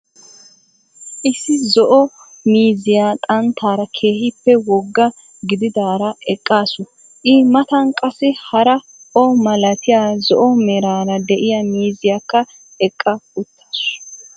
issi zo'o miizziyaa xanttaarra kehippe woggaa gididaraa eqqasu i matan qassi haraa o millatiyaa zo'o meeraraa de'iya mizziyakkaa eqqa uttasu.